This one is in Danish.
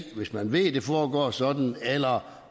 hvis man ved det foregår sådan eller